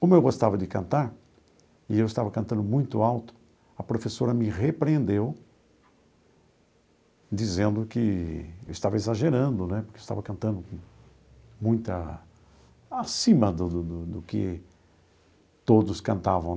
Como eu gostava de cantar, e eu estava cantando muito alto, a professora me repreendeu, dizendo que eu estava exagerando né, porque eu estava cantando muita acima do do do que todos cantavam.